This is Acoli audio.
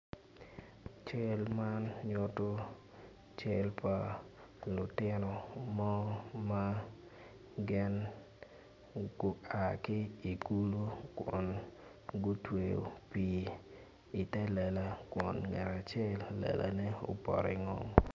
Cal man nyuto cal pa lutino mo man gin gua ki i kulo kun gutweyo pii ite lela kun ngat acel lelane opoto ingom.